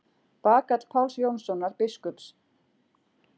Bagall Páls Jónssonar biskups.